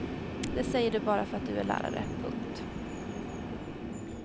Det säger du bara för att du är lärare. punkt